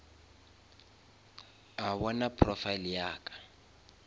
a bona profile ya ka